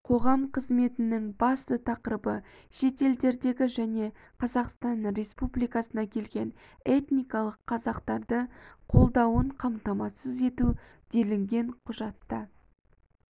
қоғам қызметінің басты тақырыбы шетелдердегі және қазақстан республикасына келген этникалық қазақтарды қолдауын қамтамасыз ету делінген құжатта